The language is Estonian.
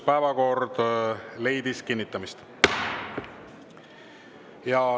Päevakord leidis kinnitamist.